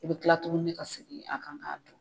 I bi kila tukuni ka segin a kan ka don.